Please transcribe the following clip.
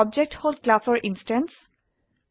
object হল ক্লাসৰ instance